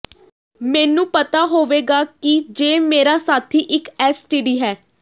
ਮੈਨੂੰ ਪਤਾ ਹੋਵੇਗਾ ਕਿ ਜੇ ਮੇਰਾ ਸਾਥੀ ਇੱਕ ਐਸਟੀਡੀ ਹੈ